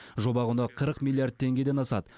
жоба құны қырық миллиард теңгеден асады